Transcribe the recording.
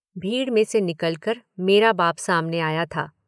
भीड़ में से निकलकर मेरा बाप सामने आया था।